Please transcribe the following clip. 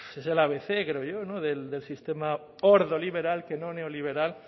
eso es el abc creo yo del sistema ordoliberal que no neoliberal